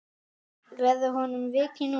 Verður honum vikið núna?